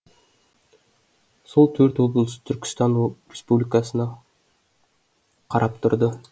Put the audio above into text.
сол төрт облыс түркістан республикасына қарап тұрды